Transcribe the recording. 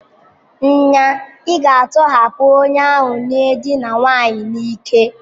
Nya, ị ga-atọhapụ onye ahụ n'edina nwanyị n'ike!